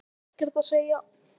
Hef ekkert að segja